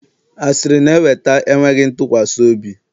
Asịrị na-eweta enweghị ntụkwasị obi